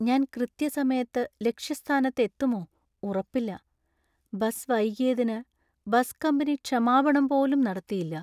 ഞാൻ കൃത്യസമയത്ത് ലക്ഷ്യസ്ഥാനത്ത് എത്തുമോ ഉറപ്പില്ല. ബസ് വൈകിയതിന് ബസ് കമ്പനി ക്ഷമാപണം പോലും നടത്തിയില്ല.